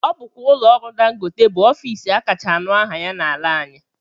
Ọ bụkwa ụlọọrụ dangote bụ ofiisi akacha anụ aha ya n'ala anyị